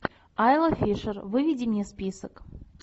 айла фишер выведи мне список